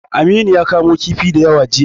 Aminu ya kamo kifi da yawa jiya.